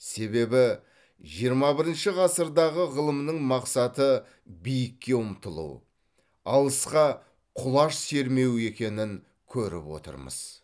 себебі жиырма бірінші ғасырдағы ғылымның мақсаты биікке ұмтылу алысқа құлаш сермеу екенін көріп отырмыз